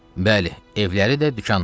Bəli, evləri də, dükanları da.